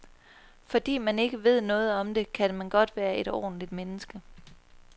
Fordi man ikke ved noget om det, kan man godt være et ordentlig menneske.